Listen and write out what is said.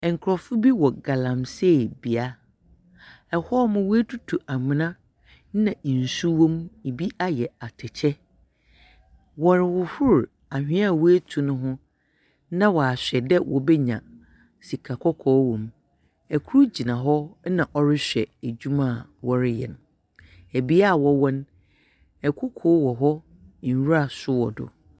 Ɛnkorɔfo bi wɔ galamsee bea, ɛhɔnom w'etutu amona na nsu wom, ebi ayɛ atɛkyɛ. Wɔrehohor ahwea a wetu no ho na ahwɛ dɛ wobenya sika kɔkɔɔ wom. Ɛkor gyina hɔ na ɔrehwɛ edwuma a wɔreyɛ no. ɛbea a wɔwɔn, ɛkoko wɔ hɔ, nwura so wɔ do.